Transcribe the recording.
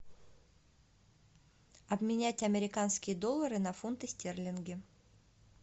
обменять американские доллары на фунты стерлинги